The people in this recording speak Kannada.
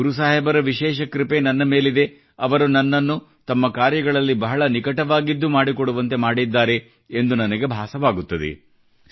ಗುರು ಸಾಹೇಬರ ವಿಶೇಷ ಕೃಪೆ ನನ್ನ ಮೇಲಿದೆ ಅವರು ನನ್ನನ್ನು ತಮ್ಮ ಕಾರ್ಯಗಳಲ್ಲಿ ಬಹಳ ನಿಕಟವಾಗಿದ್ದು ಮಾಡಿಕೊಡುವಂತೆ ಮಾಡಿದ್ದಾರೆ ಎಂದು ನನಗೆ ಭಾಸವಾಗುತ್ತದೆ